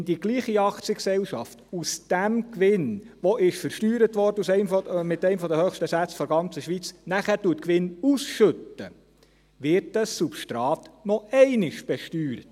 Wenn dieselbe Aktiengesellschaft aus diesem Gewinn, der mit einem der höchsten Steuersätze der ganzen Schweiz versteuert wurde, nachher Gewinn ausschüttet, wird dieses Substrat noch einmal besteuert.